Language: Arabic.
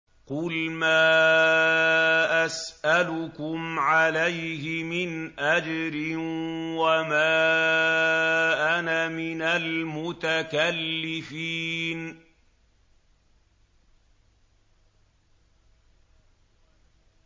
قُلْ مَا أَسْأَلُكُمْ عَلَيْهِ مِنْ أَجْرٍ وَمَا أَنَا مِنَ الْمُتَكَلِّفِينَ